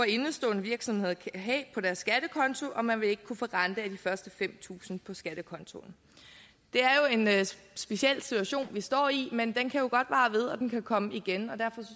indestående virksomheder kan have på deres skattekonti og man vil ikke kunne få rente af de første fem tusind på skattekontoen det er jo en speciel situation vi står i men den kan godt vare ved og den kan komme igen derfor